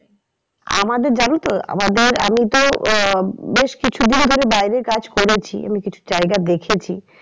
আমাদের জানো তো আমি তো আহ বেশ কিছু দিন বাইরে কাজ করেছি আমি কিছু জায়গা দেখেছি